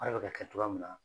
A yɛrɛ bi ka kɛ cogoya min na